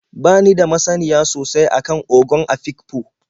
Ba ni da masaniya sosai a kan Ogon Afikpo.